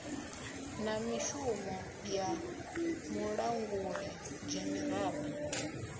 na mishumo ya mulanguli dzhenerala